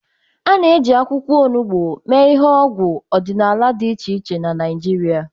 A na-eji akwụkwọ olugbo mee ihe n'ọgwụ ọdịnala dị iche iche na Naịjirịa.